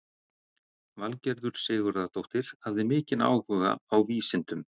Valgerður Sigurðardóttir hafði mikinn áhuga á vísindum.